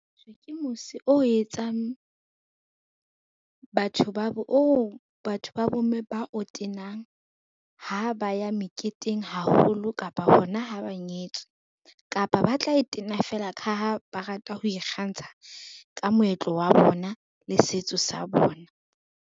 Ke mose oo batho ba bomme ba o tenang ha ba ya meketeng haholo kapa hona ha ba nyetswe. Kapa ba tla e tena fela ka ha ba rata ho ikgantsha ka moetlo wa bona le setso sa bona.